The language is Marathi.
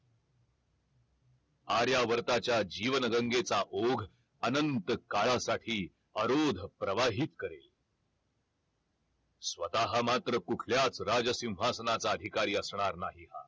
आर्यावर्ताच्या जीवन गंगेचा ओघ अनंत काळासाठी अरोध प्रवाहित करेल स्वतः मात्र कुठल्याच राज सिंहासनाचा अधिकारी असणार नाही हा